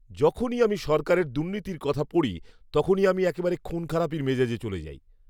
যখনই আমি সরকারের দুর্নীতির কথা পড়ি, তখনই আমি একেবারে খুনখারাপির মেজাজে চলে যাই।